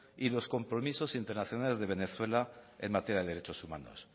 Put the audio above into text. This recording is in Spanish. y los compromisos internacionales de venezuela en materia de derechos humanos